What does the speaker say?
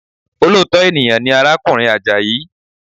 Olóòtọ́ ènìyàn ni arákùnrin Àjàyí